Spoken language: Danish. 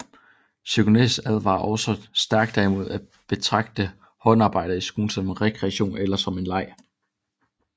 Cygnæus advarer også stærkt imod at betragte håndarbejdet i skolen som en rekreation eller som en leg